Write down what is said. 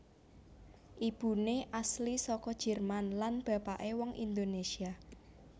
Ibuné asli saka Jerman lan bapakné wong Indonésia